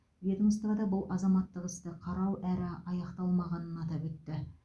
ведомствода бұл азаматтық істі қарау әрі аяқталмағанын атап өтті